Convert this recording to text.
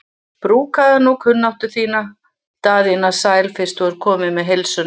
Brúkaðu nú kunnáttu þína Daðína sæl fyrst þú ert komin með heilsuna.